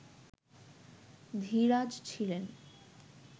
ধীরাজ ছিলেন